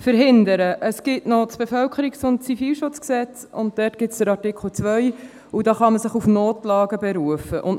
Es gibt noch das Kantonale Bevölkerungsschutz- und Zivilschutzgesetz (KBZG), und darin gibt es den Artikel 2, mit dem man sich auf Notlagen berufen kann.